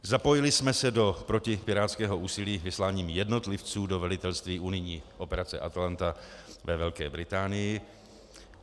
Zapojili jsme se do protipirátského úsilí vysláním jednotlivců do velitelství unijní operace ATALANTA ve Velké Británii.